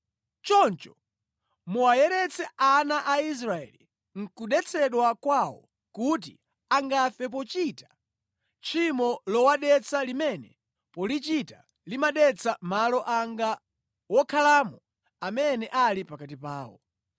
“ ‘Choncho muwayeretsa ana a Israeli nʼkudetsedwa kwawo kuti angafe pochita tchimo lowadetsa limene polichita limadetsa malo anga wokhalamo amene ali pakati pawo.’ ”